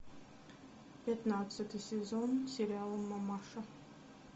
пятнадцатый сезон сериала мамаша